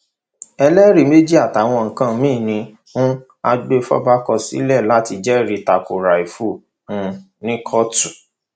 ẹlẹrì méjì àtàwọn nǹkan míín ni um agbèfọba kọ sílẹ láti jẹrìí ta ko rafiu um ní kóòtù